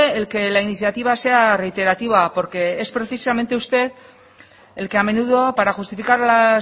el que la iniciativa sea reiterativa porque es precisamente usted el que a menudo para justificar las